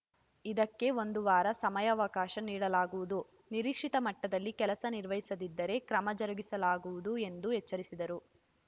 ಇದಕ್ಕೆ ಒಂದು ವಾರ ಸಮಯಾವಕಾಶ ನೀಡಲಾಗುವುದು ನಿರೀಕ್ಷಿತ ಮಟ್ಟದಲ್ಲಿ ಕೆಲಸ ನಿರ್ವಹಿಸದಿದ್ದರೆ ಕ್ರಮ ಜರುಗಿಸಲಾಗುವುದು ಎಂದು ಎಚ್ಚರಿಸಿದರು